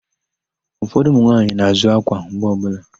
Ụfọdụ ụmụnwaanyị na-àzụ́ ákwà mgbe ọbụla.